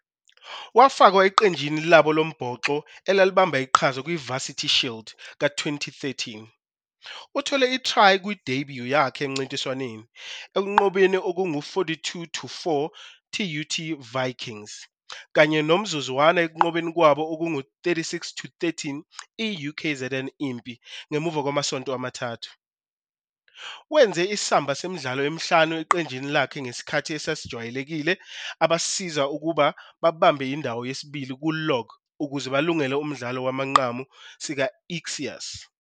Wafakwa eqenjini labo lombhoxo elalibamba iqhaza kwiVarsity Shield ka-2013. Uthole i-try kwi-debut yakhe emncintiswaneni, ekunqobeni okungu-42-4 TUT Vikings, kanye nomzuzwana ekunqobeni kwabo okungu-36-13 I-UKZN Impi ngemuva kwamasonto amathathu. Wenze isamba semidlalo emihlanu eqenjini lakhe ngesikhathi esijwayelekile, ebasiza ukuba babambe indawo yesibili ku-log ukuze balungele umdlalo wamanqamu SIKA Ixias.